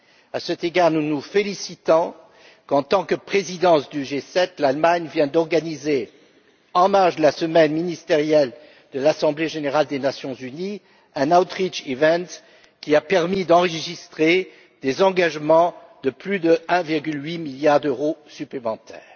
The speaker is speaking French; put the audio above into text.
À cet égard, nous nous félicitons qu'en tant que présidence du G7, l'Allemagne vienne d'organiser, en marge de la semaine ministérielle de l'Assemblée générale des Nations Unies, un outreach event qui a permis d'enregistrer des engagements de plus de 1,8 milliard d'euros supplémentaires.